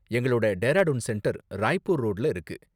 எங்களோட டேராடூன் சென்டர் ராய்பூர் ரோடுல இருக்கு.